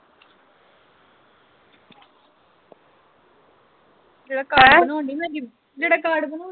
ਜਿਹਦਾ ਕਾਡ ਬਣਾਉਣ ਡਈ ਜਿਹਦਾ ਕਾਡ ਬਣਉਣ ਦਈ